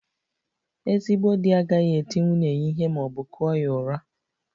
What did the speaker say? Ezigbo di agaghị eti nwunye ya ihe ma ọ bụ kụọ ya ụra